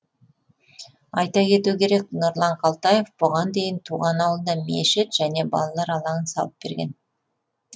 айта кету керек нұрлан қалтаев бұған дейін туған ауылына мешіт және балалар алаңын салып берген